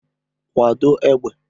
Kwado égbè!